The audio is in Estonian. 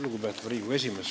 Lugupeetav Riigikogu esimees!